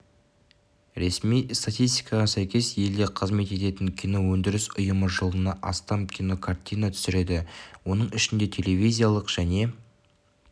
ресми статистикаға сәйкес елде қызмет ететін киноөндіріс ұйымы жылына астам кинокартина түсіреді оның ішінде телевизиялық және